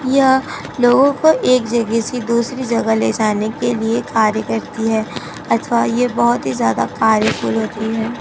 यह लोगो को एक जगह से दूसरी जगह ले जाने के लिए कार्य करती है अथवा ये बहोत ही ज्यादा कार्यफुल होती है।